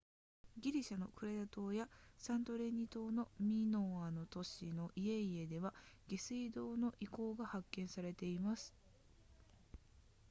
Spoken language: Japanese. ギリシャのクレタ島やサントリーニ島のミノアの都市の家々では下水道の遺構が発見されています